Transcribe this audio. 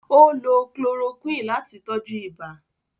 Ó lo chloroquine láti tọ́jú ibà.